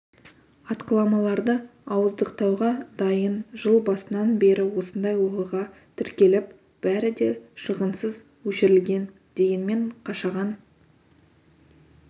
атқыламаларды ауыздықтауға дайын жыл басынан бері осындай оқиға тіркеліп бәрі де шығынсыз өшірілген дегенмен қашаған